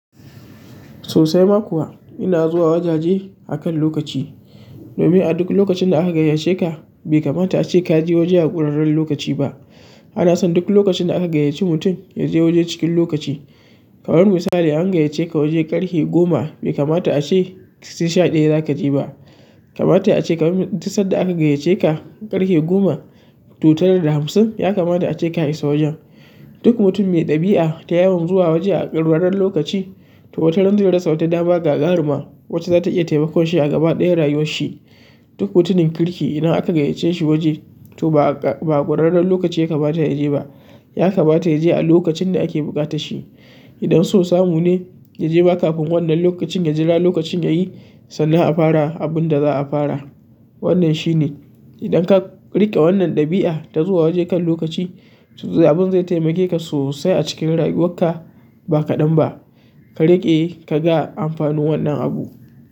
Sosai ma kuwa ina zuwa wajaje akan lokaci. Domin a duk lokacin da aka gayyace ka bai kamata ace kaje waje a ƙurarrren lokaci ba. Ana son duk lokacin da aka gayyaci mutum yaje waje cikin lokaci. Kamar misali an gayyaceka waje ƙarfe goma, bai kamata ace sai sha ɗaya zaka je ba kamata yayi ace kamar mi, duk sadda aka gayyaceka ƙarfe goma to, tara da hamsin ya kamata ace ka isa wajen. Duk mutum mai ɗabi'a ta yawan zuwa waje a ƙurarren lokaci, to, wata ran zai rasa wata dama gagaruma wacce zata iya taimakon shi a gaba ɗayan rayuwar shi. Duk mutumin kirki idan aka gayyace shi waje to, ba, ba'a ƙurarren lokaci ya kamata yaje ba. Ya kamata ya je a lokacin da ake buƙata shi. Idan so samu ne yaje ma kafin wannan lokacin ya jira lokacin yayi sannan a fara abinda za'a fara. Wannan shine idan ka riƙe wannan ɗabi'a ta zuwa waje kan lokaci su za. Abun zai taimake ka sosai a cikin rayuwarka ba kaɗan ba, ka riƙe ka ga amfanin wannan abu.